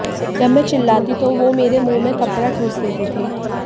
जब में चिल्लाती तो वो मेरे मुंह में कपड़ा ठूंस देते थे